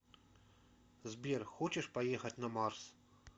сбер хочешь поехать на марс